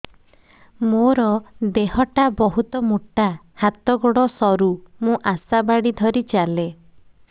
ମୋର ଦେହ ଟା ବହୁତ ମୋଟା ହାତ ଗୋଡ଼ ସରୁ ମୁ ଆଶା ବାଡ଼ି ଧରି ଚାଲେ